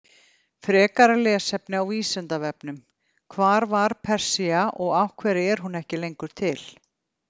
Frekara lesefni á Vísindavefnum: Hvar var Persía og af hverju er hún ekki lengur til?